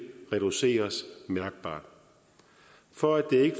reduceres mærkbart for at det ikke